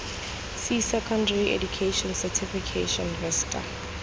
c secondary education certification vista